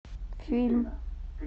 фильм